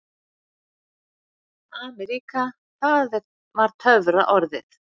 AMERÍKA það var töfraorðið.